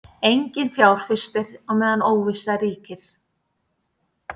Enginn fjárfestir á meðan óvissa ríkir